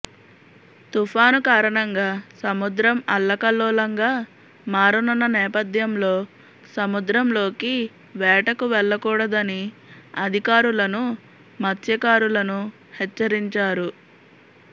తుఫాను కారణంగా సముద్రం అల్లకల్లోలంగా మారనున్న నేపథ్యంలో సముద్రంలోకి వేటకు వెళ్లకూడదని అధికారులను మత్స్యకారులను హెచ్చరించారు